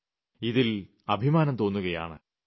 ് ഇതിൽ അഭിമാനം തോന്നുകയാണ്